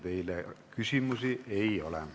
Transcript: Teile küsimusi ei ole.